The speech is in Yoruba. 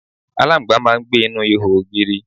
aláǹgbá máà ń gbé inú ihò ògiri